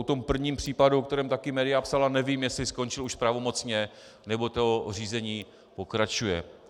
O tom prvním případu, o kterém také média psala, nevím, jestli skončil už pravomocně, nebo to řízení pokračuje.